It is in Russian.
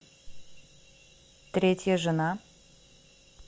третья жена